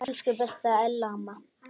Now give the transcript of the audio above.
Elsku besta Ella amma.